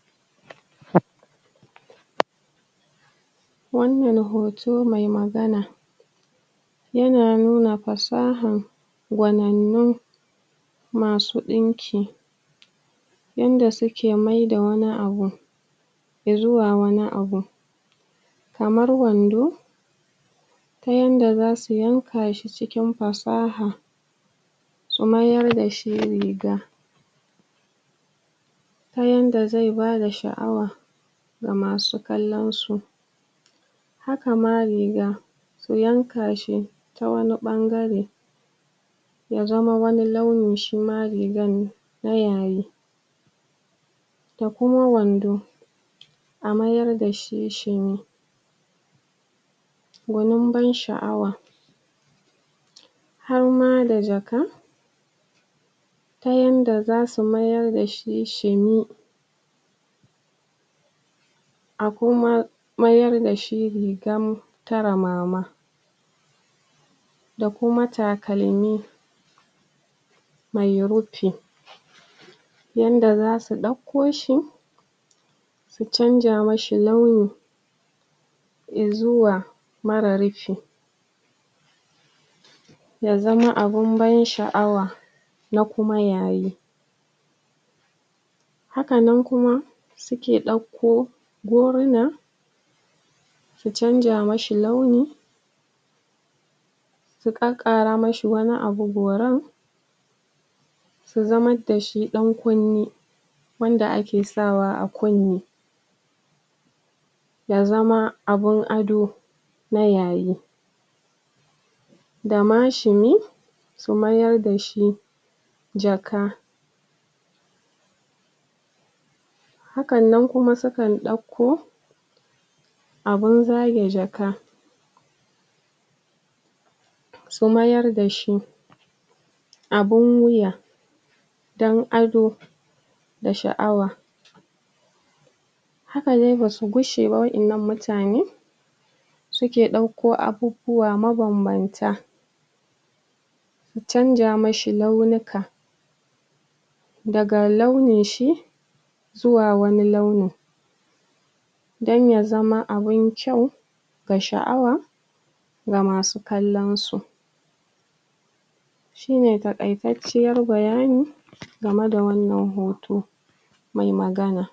ta yaya hanyoyin killacewa suke kare yaduwar cututtuka wa'anda ake goga a wajajen asibiti ko kuma wajajen kula da um marasa lafiya eh kwarai kuwa wannan yana da matukar illa idan baa killace marasa lapiya wa'anda suke dauke da cuta ko kuma wa'anda cutar ta riga ta kamasu aaaa wajen [un] asibiti ko wajen marasa lapiya domin rashin killace su zai sa su goga ma wasu marasa lafiya wa'anda basu da wannan qwayan cutan su gogesu too killace sun yana sa a rage samun wannan cuta saboda cutattakan zaa iya gogansu ko ta hanyan iska ko shaqa ko kuma ta hanyan tabawa wato akwai hanyoyi da dama da za a killace marasa lafiya domin tsira da irin wannan cututtuka na farko duk marasa lafiyan dake dauke da wannan cuta ya kamata a killace su a kai su wani daki daban wanda ya zamana ace su kadai ke amfani da wajen babu wani wanda ke zuwa wurin na biyu cutan zata iya zama kila shakar ta ake ko kuma ana gogar ta ne ta hanyan tabawa to su likitoci masu kula dasu wa'annan marasa lafiya ya kamata ace suna sa taqunqumi a fuska ko kaya ko kuma safar hannu wanda zata zama kariya ga su wa'annan marasa lafiya masu cuta yadda baza su dauki wannan cututtuka ba na uku ya kamata ace kana tsabtace hannuwanka da ruwa da sabili ka wanke domin kubuce ma wannan cututtuka wanda zai iya yiwuwa ta hanyan hannunka zaka iya dauko su ko in kayi cudanya da shi waccan marasa lafiya na hudu duk inda marasa lafiyan ke kwana da irin abubuwan da suke amfani dasu da inda suke zama da komai ya kamata ace de ana wanke wajen eh ya kamata ace wajen ana wanke shi ana tsabtace shi domin duk wani cuta da ta zauna awajen a wanketa na biyar duk wa'annan marasa lafiyan masu dauke da kwayoyin cuta ya kamata a hanasu aa asibitocin da ke kusa inda suke yawo ya kamata ace an hanasu yawo su zauna wuri daya domin yawonsu illa ne a wajen mutane